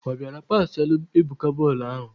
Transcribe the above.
Obiora pasịalụ Ebuka bọọlụ ahụ!